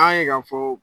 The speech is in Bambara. An y'a ye k'a fɔ